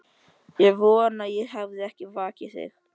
Ég vona ég hafi ekki vakið þig.